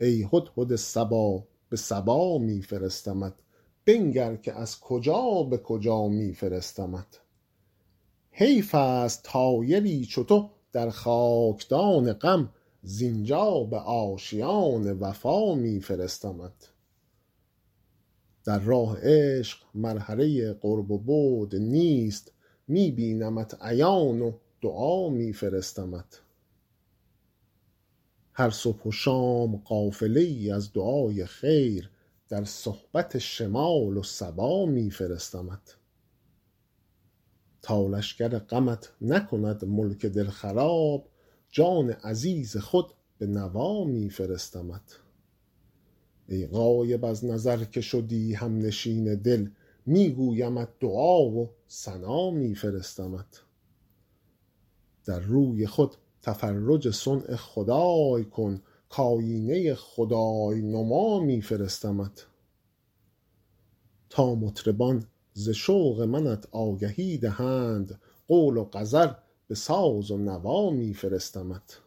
ای هدهد صبا به سبا می فرستمت بنگر که از کجا به کجا می فرستمت حیف است طایری چو تو در خاک دان غم زین جا به آشیان وفا می فرستمت در راه عشق مرحله قرب و بعد نیست می بینمت عیان و دعا می فرستمت هر صبح و شام قافله ای از دعای خیر در صحبت شمال و صبا می فرستمت تا لشکر غمت نکند ملک دل خراب جان عزیز خود به نوا می فرستمت ای غایب از نظر که شدی هم نشین دل می گویمت دعا و ثنا می فرستمت در روی خود تفرج صنع خدای کن کآیینه خدای نما می فرستمت تا مطربان ز شوق منت آگهی دهند قول و غزل به ساز و نوا می فرستمت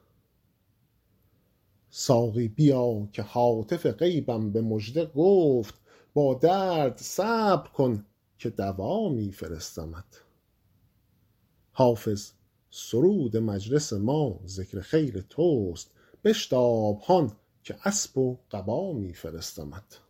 ساقی بیا که هاتف غیبم به مژده گفت با درد صبر کن که دوا می فرستمت حافظ سرود مجلس ما ذکر خیر توست بشتاب هان که اسب و قبا می فرستمت